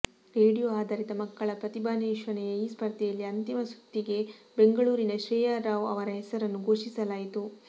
radio ಆಧಾರಿತ ಮಕ್ಕಳ ಪ್ರತಿಭಾನ್ವೇಷಣೆಯ ಈ ಸ್ಪರ್ಧೆಯಲ್ಲಿ ಅಂತಿಮ ಸುತ್ತಿಗೆ ಬೆಂಗಳೂರಿನ ಶ್ರೇಯಾ ರಾವ್ ಅವರ ಹೆಸರನ್ನು ಘೋಷಿಸಲಾಯಿತು